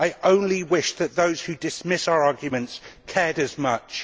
I only wish that those who dismiss our arguments cared as much.